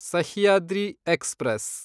Sahyadri express